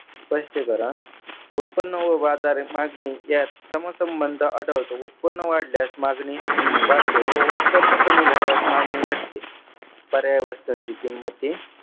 स्पष्टीकरण उत्पन्न व बाजार मागणी यात समसंबंध आढळतो. उत्पन्न वाढल्यास मागणी वाढते व उत्पन्न कमी झाल्यास मागणी घटते. सगळ्या वस्तूंची किंमती